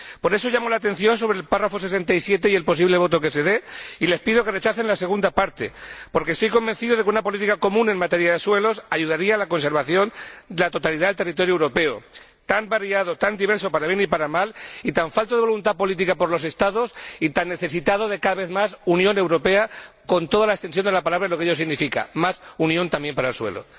Por eso llamo la atención sobre el apartado 67, y el posible resultado de la votación, y les pido que rechacen la segunda parte, porque estoy convencido de que una política común en materia de suelos ayudaría a la conservación de la totalidad del territorio europeo, tan variado, tan diverso —para bien y para mal—, tan falto de voluntad política por parte de los Estados y tan necesitado de, cada vez más, Unión Europea, con toda la extensión de la palabra y lo que ello significa más Unión también para el suelo.